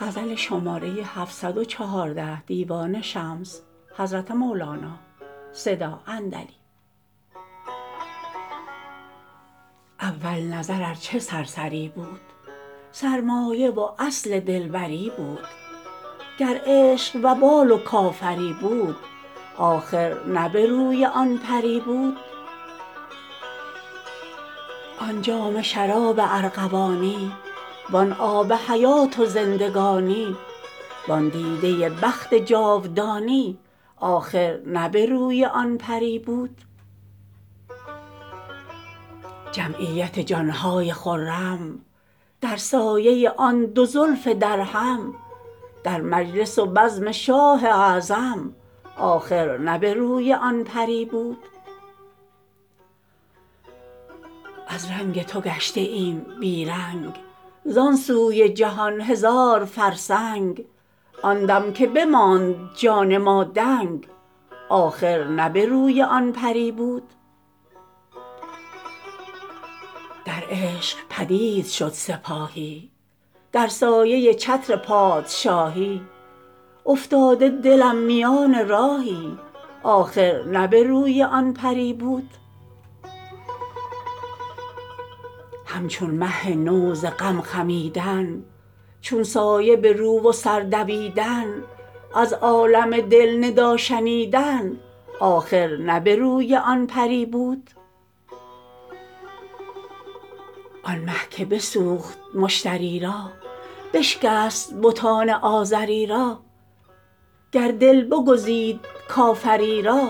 اول نظر ار چه سرسری بود سرمایه و اصل دلبری بود گر عشق وبال و کافری بود آخر نه به روی آن پری بود آن جام شراب ارغوانی وان آب حیات زندگانی وان دیده بخت جاودانی آخر نه به روی آن پری بود جمعیت جان های خرم در سایه آن دو زلف درهم در مجلس و بزم شاه اعظم آخر نه به روی آن پری بود از رنگ تو گشته ایم بی رنگ زان سوی جهان هزار فرسنگ آن دم که بماند جان ما دنگ آخر نه به روی آن پری بود در عشق پدید شد سپاهی در سایه چتر پادشاهی افتاده دلم میان راهی آخر نه به روی آن پری بود همچون مه نو ز غم خمیدن چون سایه به رو و سر دویدن از عالم دل ندا شنیدن آخر نه به روی آن پری بود آن مه که بسوخت مشتری را بشکست بتان آزری را گر دل بگزید کافری را